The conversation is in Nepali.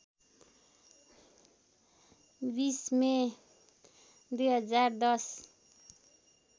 २० मे २०१०